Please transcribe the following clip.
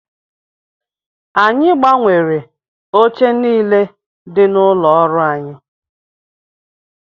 Anyị gbanwere oche niile dị n'ụlọ ọrụ anyị